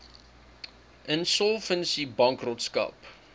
insolvensiebankrotskap